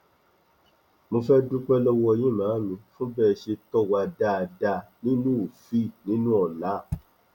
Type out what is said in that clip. mo fẹẹ dúpẹ lọwọ yín màámi fún bẹ ẹ ṣe tó wà dáadáa nínú òfíì nínú ọlaa